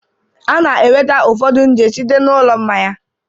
A na-enweta ụfọdụ nje site na ụlọ mmanya